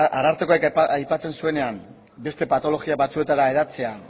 arartekoak aipatzen zuenean beste patologia batzuetara hedatzea